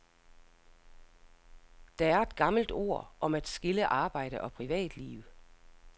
Der er et gammelt ord om at skille arbejde og privatliv.